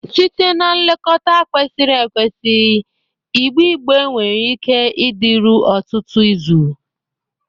Site na nlekọta kwesịrị ekwesị, igbe igbe nwere ike ịdịru ọtụtụ izu.